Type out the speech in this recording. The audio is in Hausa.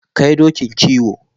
Kai dokin kiwo.